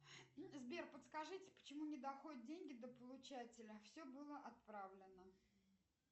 сбер подскажите почему не доходят деньги до получателя все было отправлено